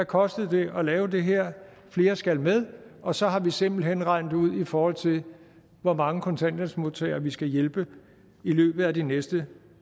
kostede at lave det her flere skal med og så har vi simpelt hen regnet det ud i forhold til hvor mange kontanthjælpsmodtagere vi skal hjælpe i løbet af de næste